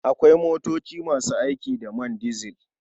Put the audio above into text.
Akwai motoci masu aiki da man dizil.